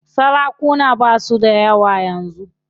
Sarakuna basu dayawa yanzu.